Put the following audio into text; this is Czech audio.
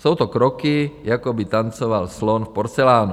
Jsou to kroky, jako by tancoval slon v porcelánu.